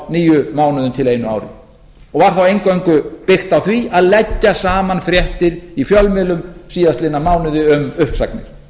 níu mánuðum til einu ári og var þá eingöngu byggt á því að leggja saman fréttir í fjölmiðlum síðastliðnum mánuði um uppsagnir